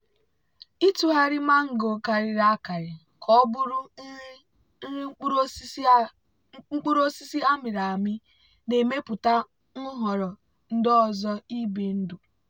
ịtụgharị mango karịrị akarị ka ọ bụrụ nri nri mkpụrụ osisi a mịrị amị na-emepụta nhọrọ ndị ọzọ ibi ndụ.